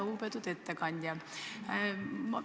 Lugupeetud ettekandja!